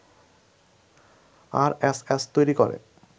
RSS তৈরি করে